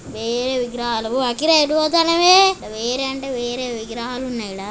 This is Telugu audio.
వేరే విగ్రహాలు అఖిలఎక్కడికి పోతున్నవే.వేరే అంటే వేరే విగ్రహాలు ఉన్నాయి ఇక్కడ.